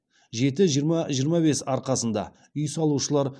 жеті жиырма жиырма бес арқасында үй салушылар